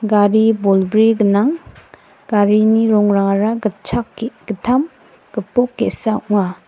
gari bolbri gnang garini rongrangara gitchak ge·gittam gipok ge·sa ong·a.